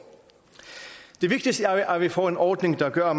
det vigtigste er at vi får en ordning der gør